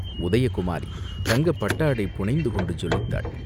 உதயகுமாரி தங்கப் பட்டாடை புனைந்து கொண்டு ஜொலித்தாள்.